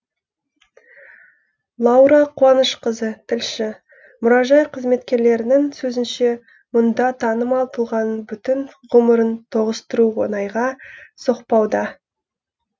лаура қуанышқызы тілші мұражай қызметкерлерінің сөзінше мұнда танымал тұлғаның бүтін ғұмырын тоғыстыру оңайға соқпауда